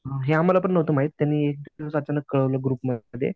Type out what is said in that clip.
हे आम्हाला पण नव्हतं माहित त्यांनी अचानकच कळवलं ग्रुपमध्ये.